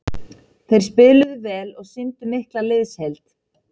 Þeir spiluðu vel og sýndu mikla liðsheild.